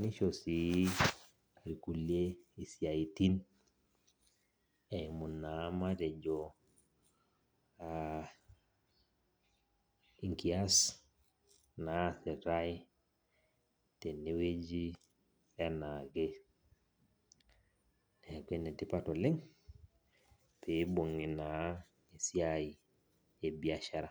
nisho si irkulie isiaitin, eimu naa matejo inkias naasitai tenewueji enaake. Neeku enetipat oleng, pibung'i naa esiai ebiashara.